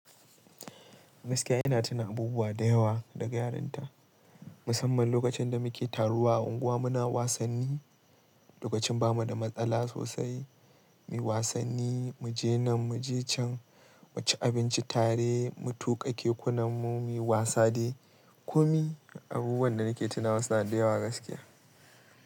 Gaskiya ina tuna abubuwa da yawa daga yaranta, musamman lokacin da muke taruwa a unguwa muna wasanni, lokacin bamu da matsala sosai, mu yi wasanni, mu je nan, mu je can, mu ci abinci tare, mu tuƙa kekunanmu, mu yi wasa dai. Kumi abubuwan da nake tuna wasu na da yawa gaskiya.